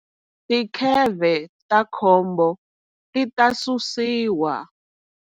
Tikheve ta khombo ti ta susiwa.